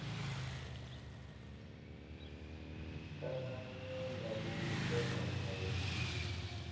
ananya na u kwamanya hoisiso